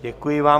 Děkuji vám.